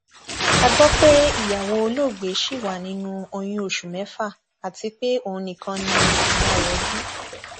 a gbọ pé ìyàwó olóògbé ṣì wà nínú oyún oṣù mẹfà àti pé òun nìkan ni ìyá rẹ bí